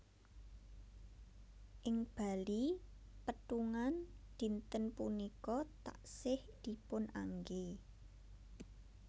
Ing Bali pétungan dinten punika taksih dipun anggé